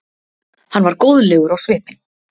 Hann var góðlegur á svipinn.